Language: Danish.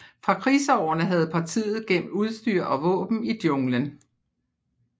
Fra krigsårene havde partiet gemt udstyr og våben i jungelen